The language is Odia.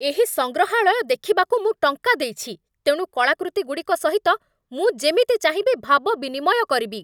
ଏହି ସଂଗ୍ରହାଳୟ ଦେଖିବାକୁ ମୁଁ ଟଙ୍କା ଦେଇଛି, ତେଣୁ କଳାକୃତିଗୁଡ଼ିକ ସହିତ ମୁଁ ଯେମିତି ଚାହିଁବି ଭାବ ବିନିମୟ କରିବି!